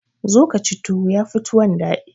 zo ka ci tuwo ya Fi tuwon daɗi